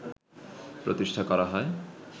প্রতিষ্ঠা করা হয়